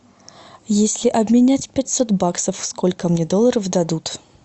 если обменять пятьсот баксов сколько мне долларов дадут